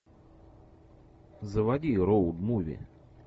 заводи роуд муви